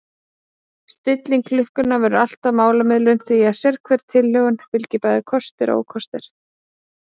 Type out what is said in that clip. Stilling klukkunnar verður alltaf málamiðlun því að sérhverri tilhögun fylgja bæði kostir og ókostir.